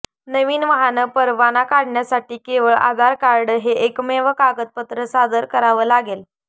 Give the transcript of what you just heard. नवीन वाहन परवाना काढण्यासाठी केवळ आधार कार्ड हे एकमेव कागदपत्र सादर करावं लागेल